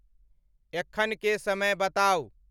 एखन के समय बताऊं